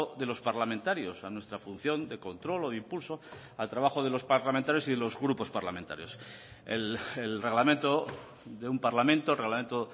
de los parlamentarios a nuestra función de control o de impulso al trabajo de los parlamentarios y de los grupos parlamentarios el reglamento de un parlamento el reglamento